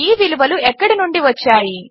ఈ విలువలు ఎక్కడి నుండి వచ్చాయి